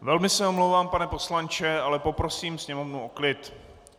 Velmi se omlouvám, pane poslanče, ale poprosím sněmovnu o klid.